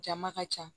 Jama ka ca